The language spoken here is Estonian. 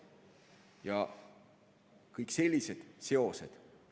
Ja kõik sellised seosed.